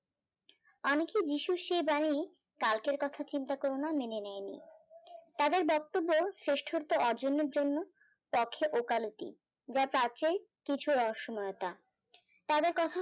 অনেকে যীশুর সে বাণী কালকের কথা চিন্তা করোনা মেনে নেয়নি তাদের বক্তব শেষ্ঠতা অর্জনের জন্য তখেঅকালতি যা কিছু অসময়তা তাদের কখনো